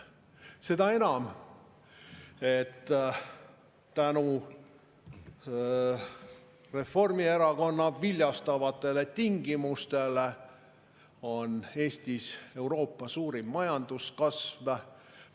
Seda enam, et tänu Reformierakonna viljastavatele tingimustele on Eestis Euroopa suurim majandus.